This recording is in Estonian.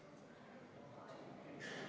Lausesse lisatakse eelnõu § 1 punkti 7 sõnastus.